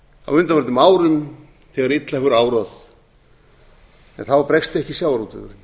á undanförnum árum þegar illa hefur árað en þá bregst ekki sjávarútvegurinn